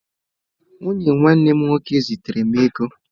Nwunye nwanne m nwoke zitere m ego.